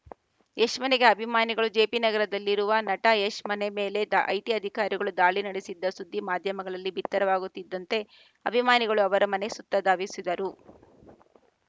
ಯಶ್‌ ಮನೆಗೆ ಅಭಿಮಾನಿಗಳು ಜೆಪಿನಗರದಲ್ಲಿನ ನಟ ಯಶ್‌ ಮನೆ ಮೇಲೆ ದಾ ಐಟಿ ಅಧಿಕಾರಿಗಳು ದಾಳಿ ನಡೆಸಿದ ಸುದ್ದಿ ಮಾಧ್ಯಮಗಳಲ್ಲಿ ಬಿತ್ತರವಾಗುತ್ತಿದ್ದಂತೆ ಅಭಿಮಾನಿಗಳು ಅವರ ಮನೆಯ ಸುತ್ತ ಧಾವಿಸಿದರು